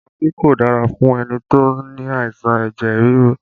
Magí kò dára fún ẹni tó ní àìsàn ẹ̀jẹ̀ ríru